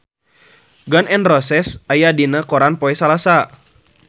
Gun N Roses aya dina koran poe Salasa